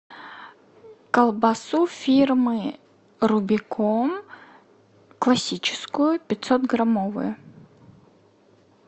колбасу фирмы рубикон классическую пятьсот граммовую